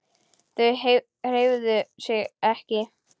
Þau hreyfðu sig ekki.